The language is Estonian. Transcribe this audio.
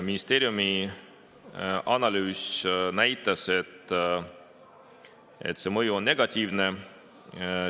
Ministeeriumi analüüs näitas, et see mõju on negatiivne.